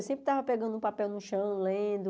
Eu sempre estava pegando um papel no chão, lendo...